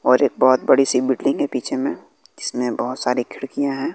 और एक बहुत बड़ी सी बिल्डिंग है पीछे में जिसमें बहुत सारी खिड़कियां हैं।